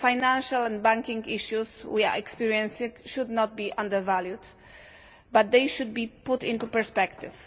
The financial and banking issues we are experiencing should not be underestimated, but they should be put into perspective.